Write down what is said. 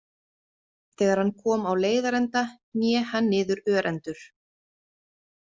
Þegar hann kom á leiðarenda hné hann niður örendur.